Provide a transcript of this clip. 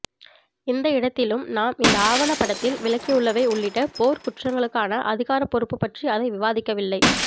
எந்த இடத்திலும் நாம் இந்த ஆவணப்படத்தில் விளக்கியுள்ளவை உள்ளிட்ட போர்க்குற்றங்களுக்கான அதிகாரப் பொறுப்பு பற்றி அது விவாதிக்கவில்லை